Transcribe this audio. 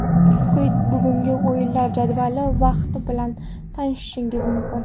Quyida bugungi o‘yinlar jadvali va vaqti bilan tanishishingiz mumkin.